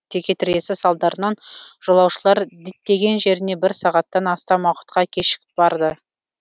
текетіресі салдарынан жолаушылар діттеген жеріне бір сағаттан астам уақытқа кешігіп барды